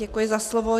Děkuji za slovo.